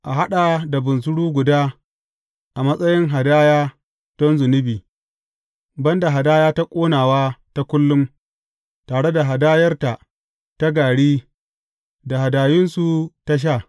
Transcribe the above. A haɗa da bunsuru guda a matsayin hadaya, don zunubi, ban da hadaya ta ƙonawa ta kullum, tare da hadayarta ta gari da hadayunsu ta sha.